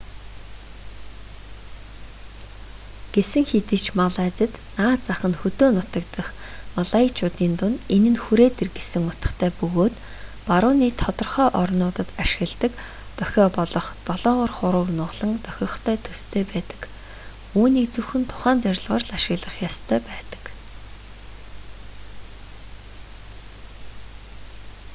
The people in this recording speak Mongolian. гэсэн хэдий ч малайзад наад зах нь хөдөө нутаг дахь малайчуудын дунд энэ нь хүрээд ир гэсэн утгатай бөгөөд барууны тодорхой орнуудад ашигладаг дохио болох долоовор хурууг нугалан дохихтой төстэй байдаг үүнийг зөвхөн тухайн зорилгоор л ашиглах ёстой байдаг